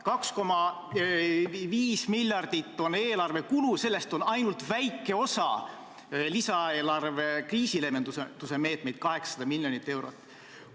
2,5 miljardit on eelarve kulu, sellest ainult väike osa on lisaeelarve kriisileevendusmeetmeid, 800 miljonit eurot.